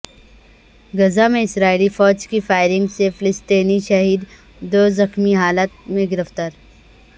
غزہ میں اسرائیلی فوج کی فائرنگ سے فلسطینی شہید دو زخمی حالت میں گرفتار